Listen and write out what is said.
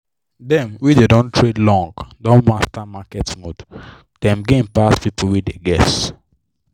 dem wey don dey trade long don master market mood dem gain pass people wey dey guess.